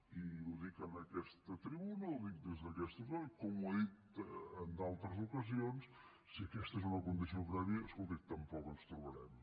i ho dic en aquesta tribuna ho dic des d’aquest faristol com ho he dit en d’altres ocasions si aquesta és una condició prèvia escolti tampoc ens trobarem